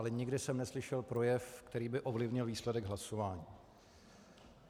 Ale nikdy jsem neslyšel projev, který by ovlivnil výsledek hlasování."